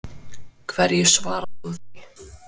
Hverju svarar þú því?